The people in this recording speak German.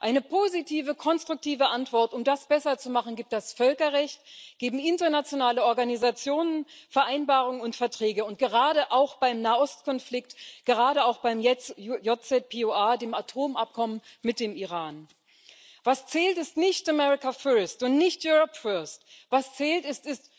Eine positive, konstruktive Antwort, um das besser zu machen, gibt das Völkerrecht, geben internationale Organisationen, Vereinbarungen und Verträge, gerade auch beim Nahostkonflikt, gerade auch jetzt beim JCPOA, der Atomvereinbarung mit dem Iran. Was zählt, ist nicht America First und nicht Europe First, was zählt, ist